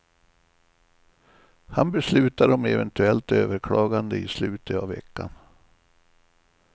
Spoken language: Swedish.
Han beslutar om eventuellt överklagande i slutet av veckan.